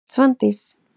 Svandís